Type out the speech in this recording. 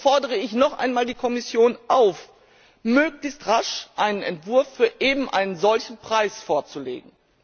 So fordere ich noch einmal die Kommission auf, möglichst rasch einen Entwurf für einen solchen Preis vorzulegen.